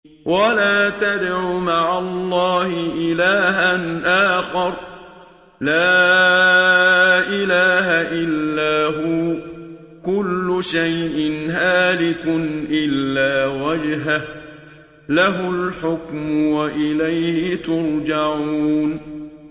وَلَا تَدْعُ مَعَ اللَّهِ إِلَٰهًا آخَرَ ۘ لَا إِلَٰهَ إِلَّا هُوَ ۚ كُلُّ شَيْءٍ هَالِكٌ إِلَّا وَجْهَهُ ۚ لَهُ الْحُكْمُ وَإِلَيْهِ تُرْجَعُونَ